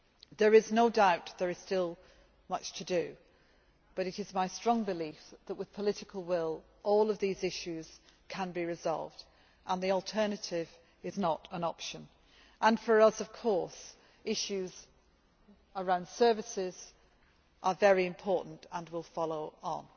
There is no doubt there is still much to do, but it is my strong belief that, with political will, all these issues can be resolved, and the alternative is not an option. For us, issues around services are very important and will follow on.